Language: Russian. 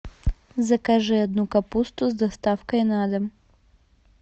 закажи одну капусту с доставкой на дом